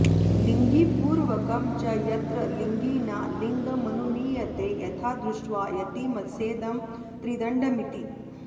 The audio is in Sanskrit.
लिङ्गिपूर्वकं च यत्र लिङ्गिना लिङ्गमनुमीयते यथा दृष्ट्वा यतिमस्येदं त्रिदण्डमिति